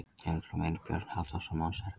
Heimildir og mynd: Björn Halldórsson.